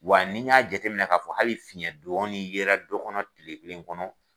Wa nin y'a jate minɛ k'a fɔ hali fiɲɛ dɔɔni yɛrɛ dɔkɔnɔ kile kelen kɔnɔ.